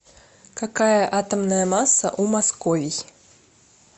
какая атомная масса у московий